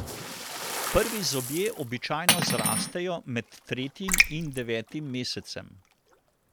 Prvi zobje običajno zrastejo med tretjim in devetim mesecem.